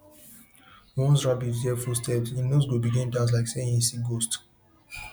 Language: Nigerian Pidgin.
once rabbit hear footstep hin nose go begin dance like say e see ghost